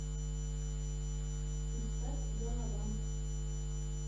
искать галавант